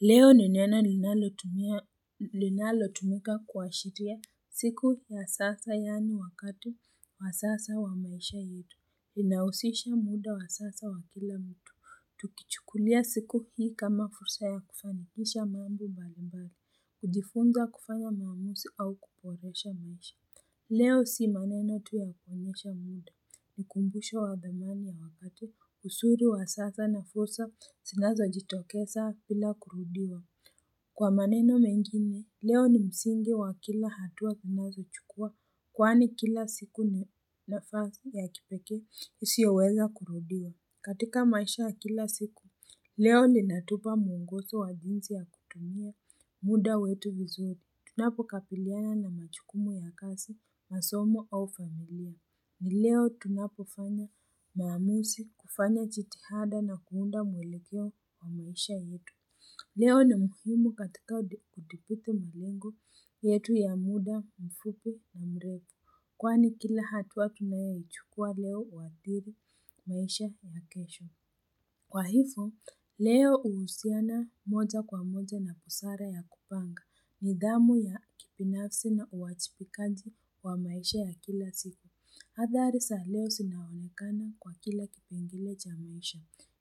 Leo ni neno linalotumika kuashiria siku ya sasa yaani wakati wa sasa wa maisha yetu. Inausisha muda wa sasa wa kila mtu. Tukichukulia siku hii kama fursa ya kufanikisha mambo mbali mbali, kujifunza kufanya maamuzi au kuboresha maisha. Leo si maneno tu ya kuonyesha muda, ni ukumbusho wa thamani ya wakati, uzuri wa sasa na fursa zinazojitokeza bila kurudiwa. Kwa maneno mengine, leo ni msingi wa kila hatua unayochukua, kwani kila siku nafasi ya kipeeke isiyoweza kurudiwa. Katika maisha kila siku, leo ninatupa muongozo wa jinsi ya kutumia muda wetu vizuri. Tunapo kabiliana na majukumu ya kazi, masomo au familia. Ni leo tunapo fanya maamuzi, kufanya jitihada na kuunda mwelekeo wa maisha yetu. Leo ni muhimu katika kudhibiti malengo yetu ya muda mfupi na mrefu. Kwani kila hatua tunayoichukua leo huadhiri maisha ya kesho. Kwa hivo, leo huhusiana moja kwa moja na busara ya kupanga. Nidhamu ya kibinafsi na uwajibikaji wa maisha ya kila siku. Hadhari za leo zinaonekana kwa kila kipengele cha maisha.